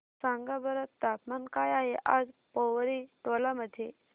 सांगा बरं तापमान काय आहे आज पोवरी टोला मध्ये